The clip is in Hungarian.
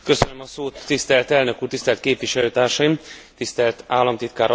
Tisztelt elnök úr, tisztelt képviselőtársaim, tisztelt államtitkár asszony!